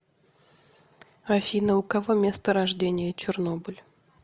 афина у кого место рождения чернобыль